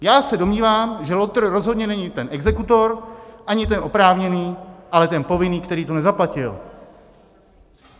Já se domnívám, že lotr rozhodně není ten exekutor, ani ten oprávněný, ale ten povinný, který to nezaplatil.